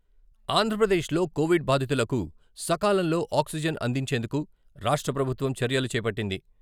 ఆంధ్రప్రదేశ్ లో కోవిడ్ బాధితులకు సకాలంలో ఆక్సిజన్ అందించేందుకు రాష్ట్ర ప్రభుత్వం చర్యలు చేపట్టింది.